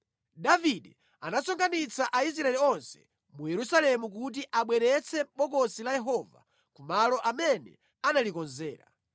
Davide anasonkhanitsa Aisraeli onse mu Yerusalemu kuti abweretse Bokosi la Yehova ku malo amene analikonzera.